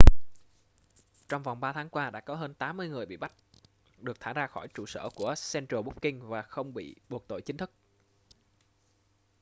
trong vòng 3 tháng qua đã có hơn 80 người bị bắt được thả ra khỏi trụ sở của central booking và không bị buộc tội chính thức